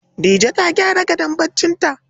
Dije ta gyara gadon barcinta.